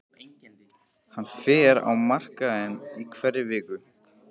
Hann fer á markaðinn í hverri viku.